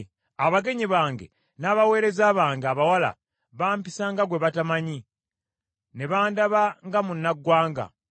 Abagenyi bange n’abaweereza bange abawala, bampisa nga gwe batamanyi, ne bandaba nga munnagwanga.